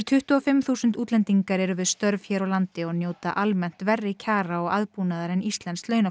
tuttugu og fimm þúsund útlendingar eru við störf hér á landi og njóta almennt verri kjara og aðbúnaðar en íslenskt